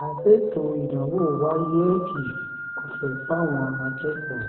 má a ṣètò ìdánwò wáyéèkì ọ̀fẹ́ fáwọn akẹ́kọ̀ọ́